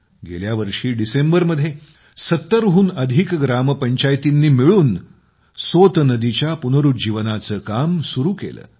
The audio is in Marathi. गेल्या वर्षी डिसेंबरमध्ये 70 हून अधिक ग्रामपंचायतींनी मिळून सोत नदीच्या पुनरुज्जीवनाचे काम सुरू केले